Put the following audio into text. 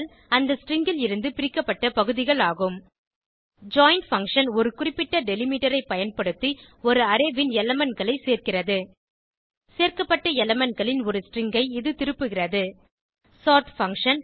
அந்த ஸ்ட்ரிங் ல் இருந்து பிரிக்கப்பட்ட பகுதிகள் ஆகும் ஜாயின் பங்ஷன் ஒரு குறிப்பிட்ட டெலிமிட்டர் ஐ பயன்படுத்தி ஒரு அரே ன் elementகளை சேர்கிறது சேர்க்கப்பட்ட elementகளின் ஒரு ஸ்ட்ரிங் ஐ இது திருப்புகிறது சோர்ட் பங்ஷன்